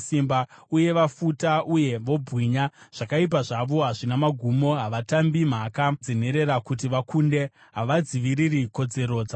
uye vafuta uye vobwinya. Zvakaipa zvavo hazvina magumo, havatambi mhaka dzenherera kuti vakunde, havadziviriri kodzero dzavarombo.